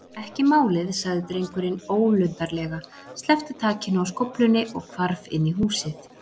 Ekki málið- sagði drengurinn ólundarlega, sleppti takinu á skóflunni og hvarf inn í húsið.